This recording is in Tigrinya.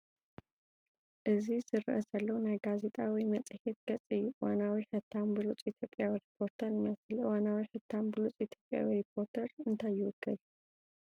እዚ ዝረአ ዘሎ ናይ ጋዜጣ ወይ መጽሔት ገጽ እዩ፣ እዋናዊ ሕታም ብሉጽ ኢትዮጵያዊ ሪፖርተር ይመስል። እዋናዊ ሕታም ብሉጽ ኢትዮጵያዊ ሪፖርተር እንታይ ይውክል?